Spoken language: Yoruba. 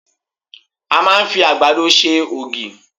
A máa ń fi àgbàdo ṣe ògì.